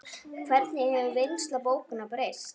Hvernig hefur vinnsla bókanna breyst?